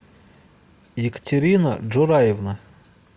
екатерина джураевна